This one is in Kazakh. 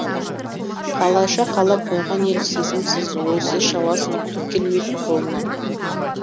қалайша қалап қойған ел сезімсіз ойсыз шаласын түк келмейтін қолынан